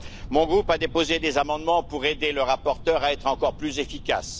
Mon groupe a déposé des amendements pour aider le rapporteur à être encore plus efficace.